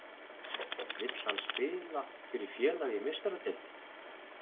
Vill hann spila fyrir félag í Meistaradeildinni?